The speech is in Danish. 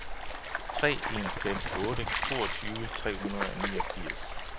tre en fem otte toogtyve tre hundrede og niogfirs